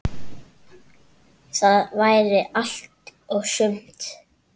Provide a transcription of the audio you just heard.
Það væri allt og sumt.